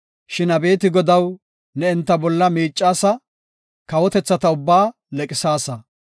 Shin abeeti Godaw, ne enta bolla miicaasa; kawotethata ubbaa leqisaasa.